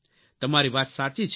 તમારી વાત સાચી છે